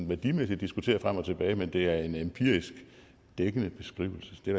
værdimæssigt diskutere frem og tilbage men det er en empirisk dækkende beskrivelse det er